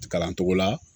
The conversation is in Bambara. Kalan cogo la